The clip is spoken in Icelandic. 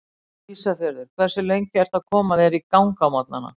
Ísafjörður Hversu lengi ertu að koma þér í gang á morgnanna?